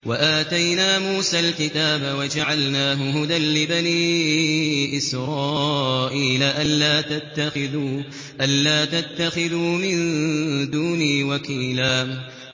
وَآتَيْنَا مُوسَى الْكِتَابَ وَجَعَلْنَاهُ هُدًى لِّبَنِي إِسْرَائِيلَ أَلَّا تَتَّخِذُوا مِن دُونِي وَكِيلًا